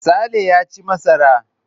Sale ya ci masara.